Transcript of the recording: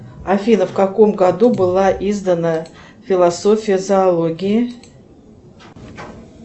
афина в каком году была издана философия зоологии